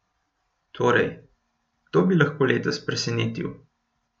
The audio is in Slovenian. Torej, kdo bi lahko letos presenetil?